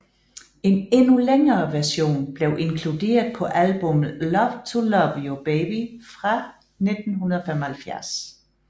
En endnu længere version blev inkluderet på albummet Love to Love You Baby fra 1975